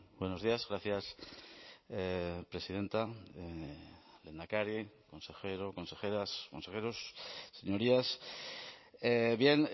buenos días gracias presidenta lehendakari consejero consejeras consejeros señorías bien